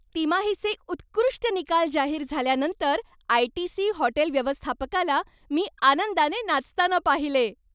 तिमाहीचे उत्कृष्ट निकाल जाहीर झाल्यानंतर आयटीसी हॉटेल व्यवस्थापकाला मी आनंदाने नाचताना पाहिले.